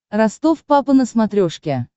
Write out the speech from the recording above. ростов папа на смотрешке